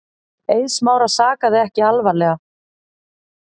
Eið Smára sakaði ekki alvarlega.